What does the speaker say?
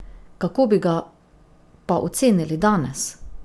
Kako bi ga pa ocenili danes?